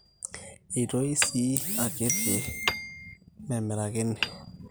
eitoi sii akitikiti memirakini